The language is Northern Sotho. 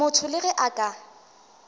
motho le ge a ka